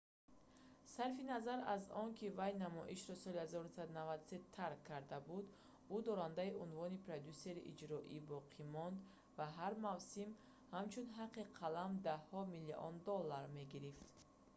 сарфи назар аз он ки вай намоишро соли 1993 тарк карда буд ӯ дорандаи унвони продюссери иҷроия боқӣ монд ва ҳар мавсим ҳамчун ҳаққи қалам даҳҳо миллион доллар мегирифт